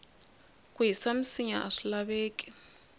ku hisa minsinya aswi laveki